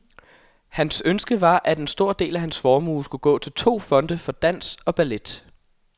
Hans ønske var at en del af hans formue skulle gå til to fonde for dans og ballet.